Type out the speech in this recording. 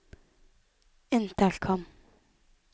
intercom